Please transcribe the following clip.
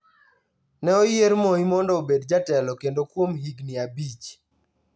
Ne oyier Moi mondo obed jatelo kendo kuom higni abich.